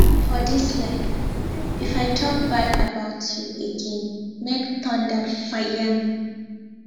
for this life if i talk bad about you againmake thunder fire me